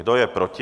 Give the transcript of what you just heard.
Kdo je proti?